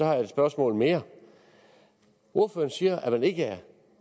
har jeg et spørgsmål mere ordføreren siger at man ikke er